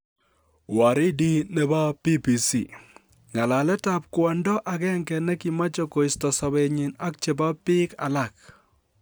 Waridi nebo BBC: Ng'alaletab kwondo agenge ne kimoche koisto sobenyin ak chebo biik alak.